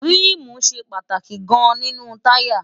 ríìmù ṣe pàtàkì gan-an nínú táyà